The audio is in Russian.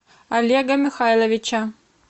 олега михайловича